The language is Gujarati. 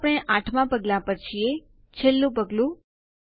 હવે આપણે ૮માં પગલાંમાં છીએ છેલ્લું પગલું